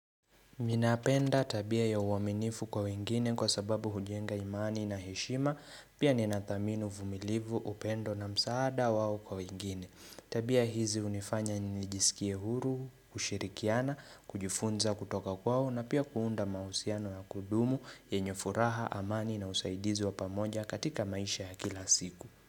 Mi napenda tabia ya uwaminifu kwa wengine kwa sababu hujenga imani na heshima pia ninathamini uvumilivu upendo na msaada wao kwa wengine. Tabia hizi hunifanya nijisikie huru, kushirikiana, kujifunza kutoka kwao na pia kuunda mahusiano ya kudumu yenye furaha amani na usaidizi wa pamoja katika maisha ya kila siku.